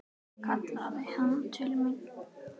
kallaði hann til mín.